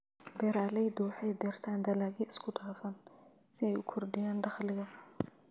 Beeraleydu waxay beertaan dalagyo isku dhafan si ay u kordhiyaan dakhliga.